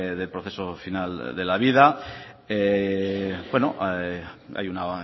de proceso final de la vida bueno hay una